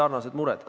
Konsensuslikult!